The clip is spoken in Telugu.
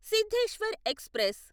సిద్ధేశ్వర్ ఎక్స్ప్రెస్